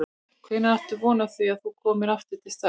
Hvenær áttu von á því að þú komir aftur til starfa?